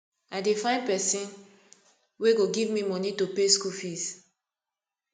i dey find pesin wey go give me moni to pay school fees